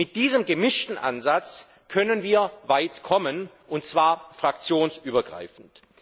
Mit diesem gemischten Ansatz können wir weit kommen, und zwar fraktionsübergreifend.